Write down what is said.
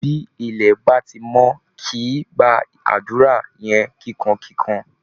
Bí ilẹ̀ bá ti mọ́, kí ẹ gba àdúra yẹn kìkankìkan!